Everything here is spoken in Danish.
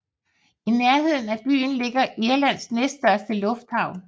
I nærheden af byen ligger Irlands næststørste lufthavn